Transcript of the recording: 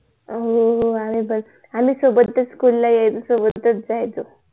हो हो हे आहे बघ आम्ही सोबतच SCHOOL ला यायचो आणि सोबतच जायचो